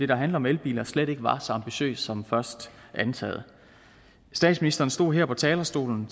der handler om elbiler slet ikke var så ambitiøs som først antaget statsministeren stod her på talerstolen